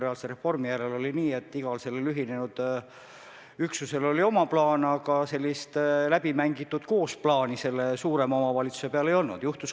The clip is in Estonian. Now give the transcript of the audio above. Ja kui ei ole väga tungivat vajadust, siis võib-olla ei ole mõtet praegu delegatsioone igale poole saata.